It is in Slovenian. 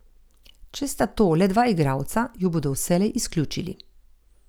Če sta to le dva igralca, ju bodo vselej izključili.